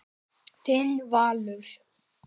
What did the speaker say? Þinn Valur.